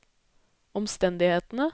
omstendighetene